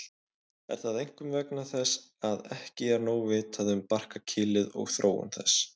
Er það einkum vegna þess að ekki er nóg vitað um barkakýlið og þróun þess.